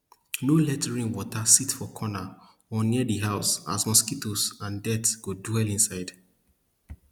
nor let rain water sit for corner or near di house as mosquitoes and dirt go dwell inside